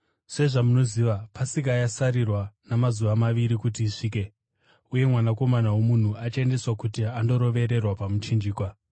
“Sezvamunoziva, Pasika yasarirwa namazuva maviri kuti isvike, uye Mwanakomana woMunhu achaendeswa kuti andorovererwa pamuchinjikwa.”